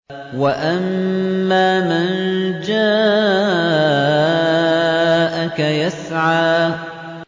وَأَمَّا مَن جَاءَكَ يَسْعَىٰ